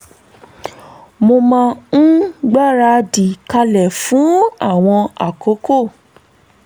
mo máa ń gbáradì kalẹ̀ fún àwọn àkókò